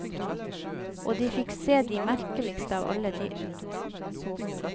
Og de fikk se det merkeligste av alle dyr.